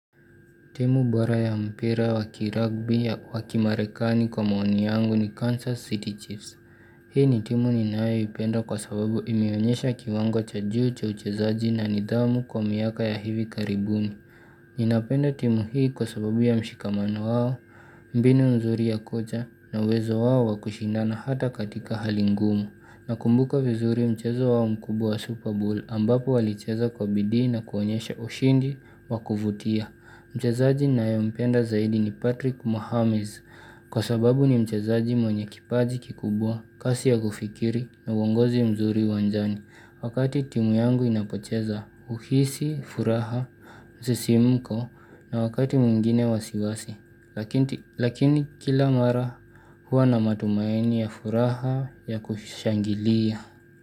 Timu bora ya mpira wakiragbi ya wakimarekani kwa maoni yangu ni Kansas City Chiefs. Hii ni timu ninayoipenda kwa sababu imeonyesha kiwango cha juu cha uchezaji na nidhamu kwa miaka ya hivi karibuni. Ninapenda timu hii kwa sababu ya mshikamano wao, mbinu mzuri ya kocha na uwezo wao wakushindana hata katika hali ngumu Nakumbuka vizuri mchezo wao mkubwa ww Super Bowl ambapo walicheza kwa bidii na kuonyesha ushindi wakuvutia Mchezaji naye mpenda zaidi ni Patrick Mohammes kwa sababu ni mchezaji mwenye kipaji kikubwa, kasi ya kufikiri na uongozi mzuri uwanjani Wakati timu yangu inapocheza huhisi, furaha, msisimko na wakati mwingine wasiwasi Lakini kila mara huwa na matumaini ya furaha ya kushangilia.